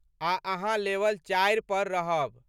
आ अहाँ लेवल चारि पर रहब।